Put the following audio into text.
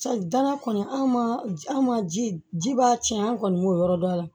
danaya kɔni an ma an ma ji ji b'a tiɲɛ an kɔni y'o yɔrɔ dɔ a la